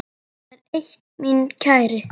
Það er eitt, minn kæri.